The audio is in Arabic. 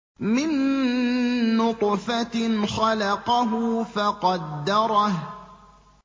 مِن نُّطْفَةٍ خَلَقَهُ فَقَدَّرَهُ